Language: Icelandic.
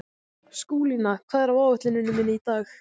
Skúlína, hvað er á áætluninni minni í dag?